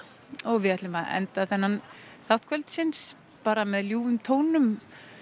við ætlum að enda þennan þátt kvöldsins bara með ljúfum tónum